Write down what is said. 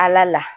Ala la